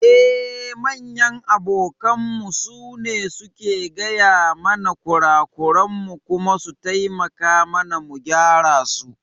Eh, manyan abokanmu su ne suke gaya mana kurakuran mu kuma su taimaka mana mu gyara su.